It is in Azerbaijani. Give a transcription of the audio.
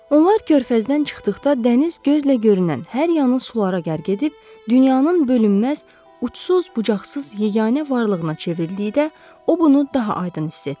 Onlar körfəzdən çıxdıqda dəniz gözlə görünən hər yanı sulara qərq edib, dünyanın bölünməz, uçsuz-bucaqsız, yeganə varlığına çevrildikdə o bunu daha aydın hiss etdi.